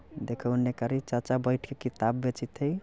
देखा ओने कारी चचा बैठ के किताब बेचत हई।